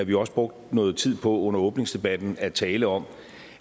vi også brugte noget tid på under åbningsdebatten at tale om